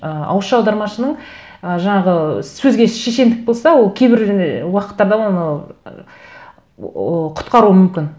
ы ауызша аудармашының ы жаңағы сөзге шешендік болса ол кейбір ы уақыттарда оны құтқаруы мүмкін